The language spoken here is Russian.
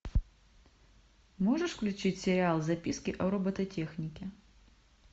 можешь включить сериал записки о робототехнике